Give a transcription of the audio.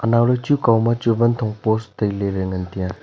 anauley chu kau ma chu vanthong post tailey ley ngantaiya.